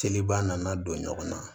Seliba nana don ɲɔgɔn na